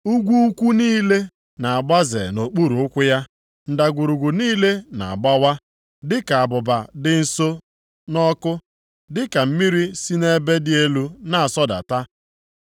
Ugwu ukwu niile na-agbaze nʼokpuru ụkwụ ya, ndagwurugwu niile na-agbawa, dịka abụba dị nso nʼọkụ, dịka mmiri si nʼebe dị elu na-asọdata